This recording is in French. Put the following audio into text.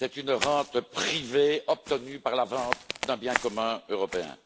C'est une rente privée obtenue par la vente d'un bien commun européen.